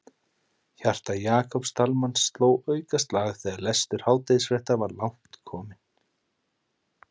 Hjarta Jakobs Dalmanns sló aukaslag þegar lestur hádegisfrétta var langt kominn.